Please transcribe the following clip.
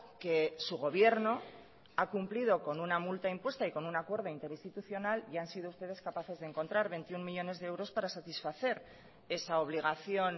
que su gobierno ha cumplido con una multa impuesta y con un acuerdo interinstitucional y han sido ustedes capaces de encontrar veintiuno millónes de euros para satisfacer esa obligación